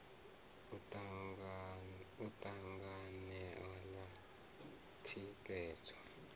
u ta dzangano ḽa thikhedzo